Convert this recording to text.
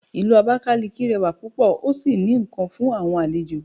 Ìlú abakaliki rẹwa púpò o sí ní nkán fún àwọn àlejò